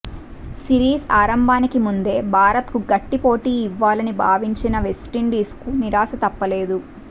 series ఆరంభానికి ముందే భారత్కు గట్టిపోటీ ఇవ్వాలని భావించిన వెస్టిండీస్కు నిరాశ తప్పలేదు